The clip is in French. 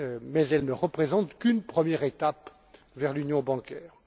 mais elle ne représente qu'une première étape vers l'union bancaire.